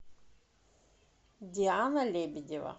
диана лебедева